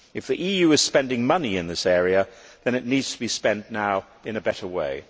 If the EU is spending money in this area then it needs to be spent now in a better way.